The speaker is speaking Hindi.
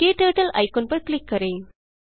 क्टर्टल आइकन पर क्लिक करें